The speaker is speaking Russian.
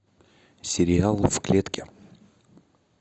сериал в клетке